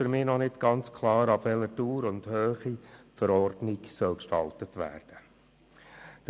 Auch ist mir noch nicht ganz klar, ab welcher Dauer und Höhe die Verordnung ausgestaltet werden soll.